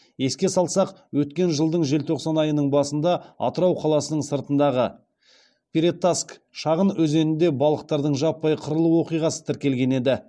еске салсақ өткен жылдың желтоқсан айының басында атырау қаласының сыртындағы перетаск шағын өзенінде балықтардың жаппай қырылу оқиғасы тіркелген еді